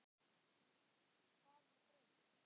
Hvað var breytt?